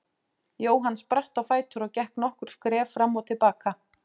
Jóhann spratt á fætur og gekk nokkur skref fram og til baka.